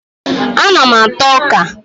Ana m ata ọka